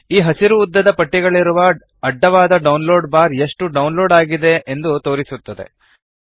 ಈ ಹಸಿರು ಉದ್ದದ ಪಟ್ಟಿಗಳಿರುವ ಅಡ್ಡವಾದ ಡೌನ್ಲೋಡ್ ಬಾರ್ ಎಷ್ಟು ಡೌನ್ಲೋಡ್ ಆಗಿದೆ ಎಂದು ತೋರಿಸುತ್ತದೆ